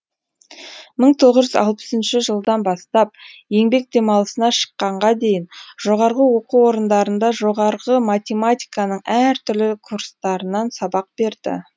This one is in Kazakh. мың тоғыз жүз алпыс үшінші жылдан бастап еңбек демалысына шыққанға дейін жоғарғы оқу орындарында жоғарғы математиканың әр түрлі курстарынан сабақ берді